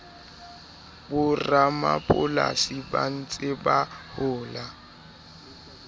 boramapolasi ba ntseng ba hola